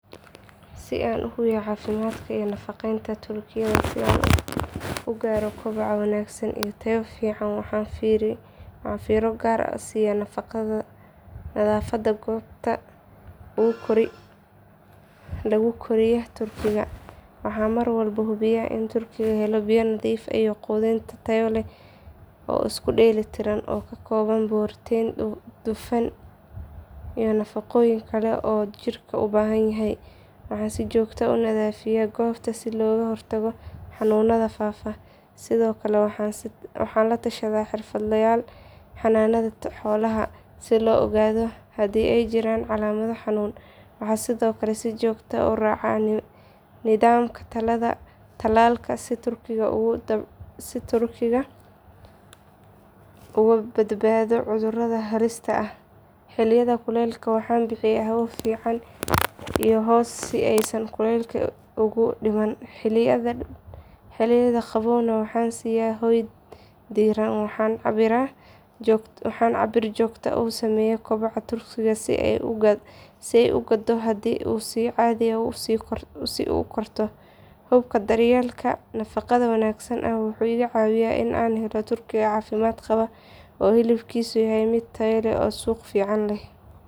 Si an uhubiyo cafimadka ii nafqeynta turkiga si an ugaro kobaca wagsan iyo taya fican waxan fira gar ahh siya nadhafada gobta lagukoriyo turkiga, waxan marwalba hubiya inn jirkedhu hela biya nadhif iyo qudhin taya leh oo iskudeli tiran oo kakoban protein dufan iyo nafaqoyin kala uu jirka ubahanyahy, waxan sijogta ahh unadhafiya gobta si loga hortago xanunadha fafa, sidhokale waxan latashadha xerfad layal xananadha xolaha si loogadho hadii ey jiran calamadho xanun, waxa sidhokale si jogta ahh uraca nidhamka talalka si turkiga uga badbadho cudguradha halista ahh, xiliyadha kulelka waxan bixiya hawa fican iyo hoss si ey san kulelka ugu diman, xiliyadha qabowga waxan siya hoy diran waxan cabir jogta usameya kubaca turkiga si ay ugado hadi ey si cadhi ahh ukorto, hubka daryelka nafaqadha wanagsan aya waxu iga cawiya inan helo turkiga cafimad qabo oo hilibkisu yahay mid taya leh oo suq fican leh.